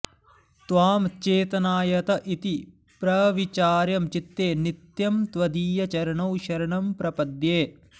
त्वां चेतनायत इति प्रविचार्यं चित्ते नित्यं त्वदीयचरणौ शरणं प्रपद्ये